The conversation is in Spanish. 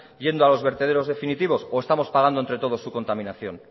yendo a los vertederos definitivos o estamos pagando entre todos su contaminación